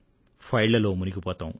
ఫైళ్లలో మునిగిపోతాం